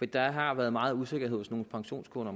der har været meget usikkerhed hos nogle pensionskunder